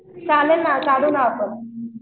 चालेल ना जाऊ आपण